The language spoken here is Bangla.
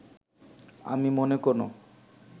আমি মনে কোনো